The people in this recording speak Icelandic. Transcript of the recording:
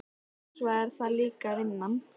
Og svo er það líka vinnan.